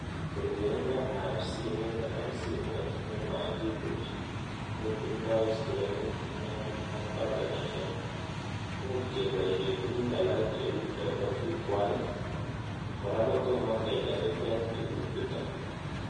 Kerkeindoab simit-simoit nemakibuch kotindoi screnit neming ak batonishek- much koboishe tuguk alak cheu chobo jukwait, kora kotomo kejariben tuguk chuto